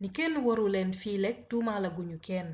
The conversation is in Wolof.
ni kenn warul lenn fileek tuumal a guñu kenn